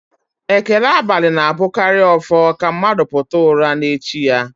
Ekele abalị na-abụkarị ọfọ ka mmadụ pụta ụra n'echi ya